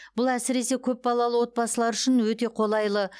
бұл әсіресе көпбалалы отбасылар үшін өте қолайлы